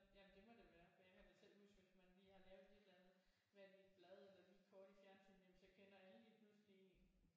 Jamen det må det være for jeg kan da selv huske at man lige har lavet et eller andet været i et blad eller lige kort i fjernsynet jamen så kender alle lige pludselig en